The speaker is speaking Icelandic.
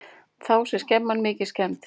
Þá sé skemman mikið skemmd.